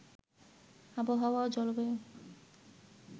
আবহাওয়া ও জলবায়ু